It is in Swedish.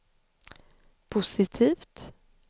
positivt